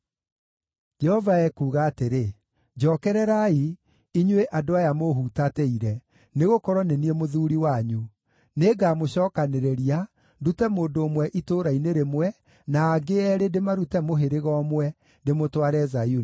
Jehova ekuuga atĩrĩ: “Njookererai, inyuĩ andũ aya mũũhutatĩire, nĩgũkorwo nĩ niĩ mũthuuri wanyu; nĩngamũcookanĩrĩria, ndute mũndũ ũmwe itũũra-inĩ rĩmwe, na angĩ eerĩ ndĩmarute mũhĩrĩga ũmwe, ndĩmũtware Zayuni.